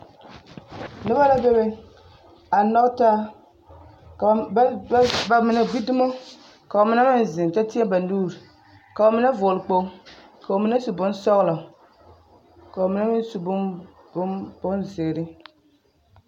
Noba la bebe a nyɔge taa ka bamine gbi dumo ka bamine meŋ zeŋ kyɛ tēɛ ba nuuri ka bamine vɔgele kpoli ka bamine su bonsɔgelɔ ka bamine meŋ su bonzeere.